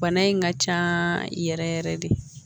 Bana in ka can yɛrɛ yɛrɛ yɛrɛ de